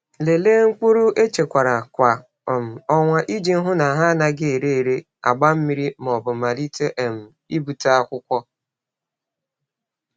Lelee mkpụrụ echekwara kwa um ọnwa iji hụ na ha anaghị ere ere, agba mmiri, ma ọ bụ malite um ibute akwụkwọ.